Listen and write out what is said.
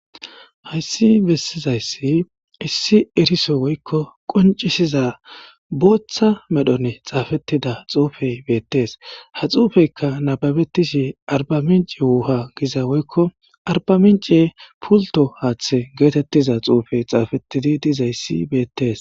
Hayssi bessizayssi issi eriso woykko qoncisiza booththa medhone xaafetida xuufey beettes ha xuufeyka nababetishi arba minci wuha giza woykko arba mince pulto haaththe geetettiza xuufey xaafettidi dizayssi beettees.